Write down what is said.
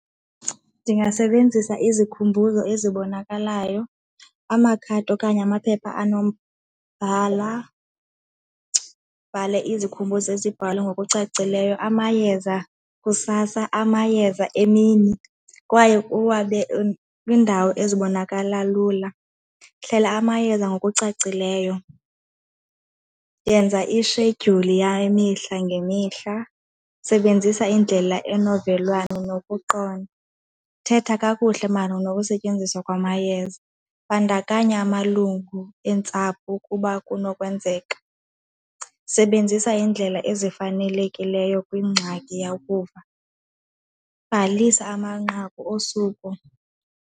Ndingasebenzisa izikhumbuzo ezibonakalayo, amakhadi okanye amaphepha anombhala, bhale izikhumbuzo ezibhalwe ngokucacileyo amayeza kusasa, amayeza emini kwaye kwiindawo ezibonakala lula. Hlela amayeza ngokucacileyo, yenza ishedyuli yemihla ngemihla, sebenzisa indlela enovelwano nokuqonda, thetha kakuhle malunga nokusetyenziswa kwamayeza, bandakanya amalungu eentsapho ukuba kunokwenzeka, sebenzisa iindlela ezifanelekileyo kwiingxaki yokuva, bhalisa amanqaku osuku.